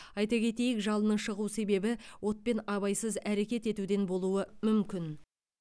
айта кетейік жалынның шығу себебі отпен абайсыз әрекет етуден болуы мүмкін